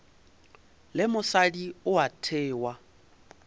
le mosadi o a thewa